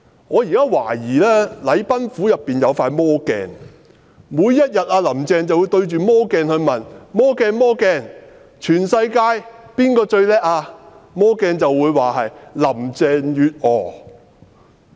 我懷疑禮賓府有一塊魔鏡，"林鄭"每天也會站到魔鏡前問："魔鏡、魔鏡，全世界最棒的是誰？